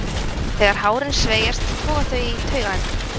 Þegar hárin sveigjast toga þau í taugaendana.